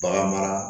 Bagan mara